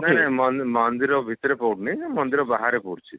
ନାଇଁ ନାଇଁ ମନ ମନ୍ଦିର ଭିତରେ ପଡୁନି ମନ୍ଦିର ବାହାର ପଡୁଛି